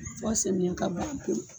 Fɔ samiyɛ ka ban pewu